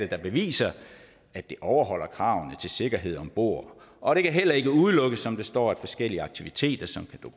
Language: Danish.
der beviser at det overholder kravene til sikkerhed om bord og det kan heller ikke udelukkes som der står at forskellige aktiviteter som